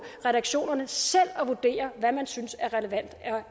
reaktionerne selv sidder og vurderer hvad man synes er relevant